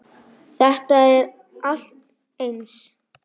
Þetta er allt eins!